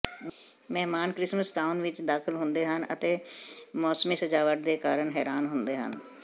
ਮਹਿਮਾਨ Christmas town ਵਿੱਚ ਦਾਖਲ ਹੁੰਦੇ ਹਨ ਅਤੇ ਮੌਸਮੀ ਸਜਾਵਟ ਦੇ ਕਾਰਨ ਹੈਰਾਨ ਹੁੰਦੇ ਹਨ